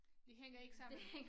Det hænger ikke sammen